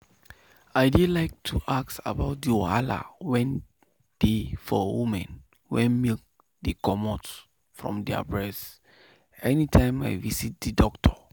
i dey like to ask about the wahala wen dey for women wen milk dey comot from their breast anytime i visit the doctor.